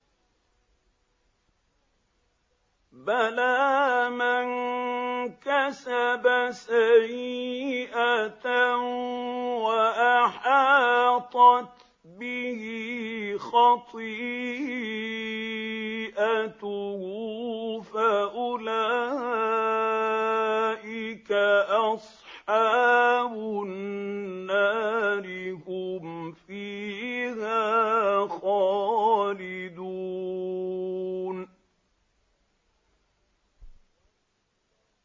بَلَىٰ مَن كَسَبَ سَيِّئَةً وَأَحَاطَتْ بِهِ خَطِيئَتُهُ فَأُولَٰئِكَ أَصْحَابُ النَّارِ ۖ هُمْ فِيهَا خَالِدُونَ